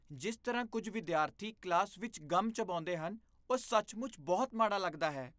ਜਿਸ ਤਰ੍ਹਾਂ ਕੁੱਝ ਵਿਦਿਆਰਥੀ ਕਲਾਸ ਵਿੱਚ ਗਮ ਚਬਾਉਂਦੇ ਹਨ, ਉਹ ਸੱਚਮੁੱਚ ਬਹੁਤ ਮਾੜਾ ਲੱਗਦਾ ਹੈ।